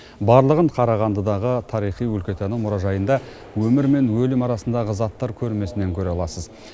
барлығын қарағандыдағы тарихи өлкетану мұражайында өмір мен өлім арасындағы заттар көрмесінен көре аласыз